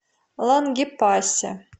лангепасе